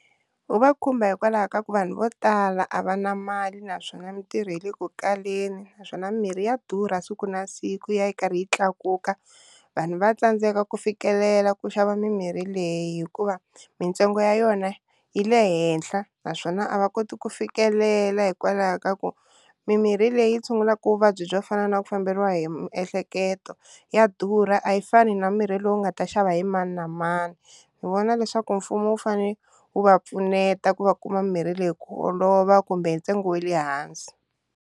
Wu va khumba hikwalaho ka ku vanhu vo tala a va na mali naswona mitirho yi le ku kaleni naswona mirhi ya durha siku na siku yi ya karhi yi tlakuka, vanhu va tsandzeka ku fikelela ku xava mimirhi leyi hikuva mintsengo ya yona yi le henhla naswona a va koti ku fikelela hikwalaho ka ku mimirhi leyi tshungulaka vuvabyi byo fana na ku famberiwa hi miehleketo ya durha a yi fani na mirhi lowu nga ta xava hi mani na mani, ni vona leswaku mfumo wu fane wu va pfuneta ku va kuma mirhi leyi ku olova kumbe hi ntsengo wa le hansi.